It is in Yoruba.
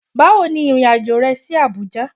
Bawo ni irin ajo re si Abuja